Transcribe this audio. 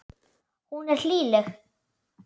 Hún er hlýleg.